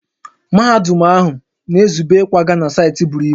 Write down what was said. Mahadum ahụ na-ezube ịkwaga na saịtị buru ibu